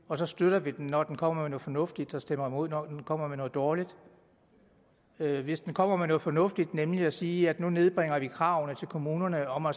og så støtter vi den når den kommer med noget fornuftigt og stemmer imod når den kommer med noget dårligt hvis den kommer med noget fornuftigt nemlig at sige at nu nedbringe kravene til kommunerne om at